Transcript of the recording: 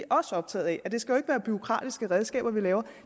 også optaget af at det skal være bureaukratiske redskaber vi laver